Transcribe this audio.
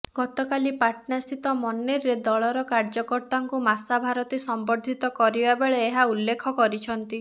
ଗତକାଲି ପାଟନା ସ୍ଥିତ ମନେରରେ ଦଳର କାର୍ଯ୍ୟକର୍ତ୍ତାଙ୍କୁ ମାସା ଭାରତୀ ସମ୍ୱଦ୍ଧିତ କରିବା ବେଳେ ଏହା ଉଲ୍ଲେଖ କରିଛନ୍ତି